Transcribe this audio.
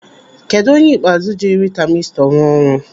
Kedụ onye ikpeazụ jiri tamistọ rụọ ọrụ?